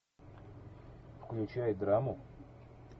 включай драму